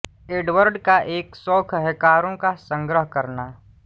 Edward का एक शौंक है कारों का संग्रह करना